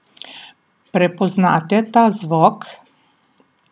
Prepoznate ta zvok?